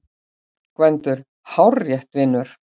GVENDUR: Hárrétt, vinur!